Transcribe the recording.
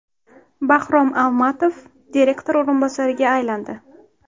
Bahrom Almatov direktor o‘rinbosariga aylandi.